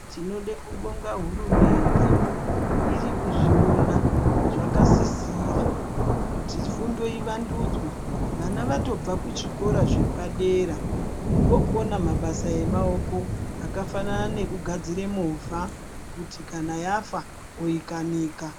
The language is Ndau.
Tinode kubonga hurumende, irikuzviwona zvakasisira, kuti fundo ivandudzve. Vana vatobva kuzvikora zvepadera, vokona mabasa emawoko akafanana nekugadzire mova, kuti kana yafa, oyikanika.